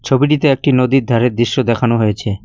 ছবিটিতে একটি নদীর ধারের দৃশ্য দেখানো হয়েছে।